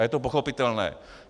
A je to pochopitelné.